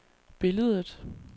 billedet